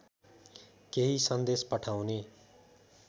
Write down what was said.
केही सन्देश पठाउने